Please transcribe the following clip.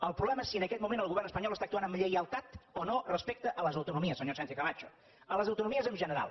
el problema és si en aquest moment el govern espanyol actua amb lleialtat o no respecte a les autonomies senyora sánchez cama cho a les autonomies en general